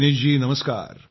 दिनेश जी नमस्कार